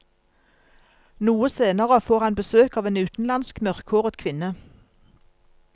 Noe senere får han besøk av en utenlandsk, mørkhåret kvinne.